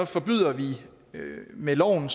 forbyder vi med loven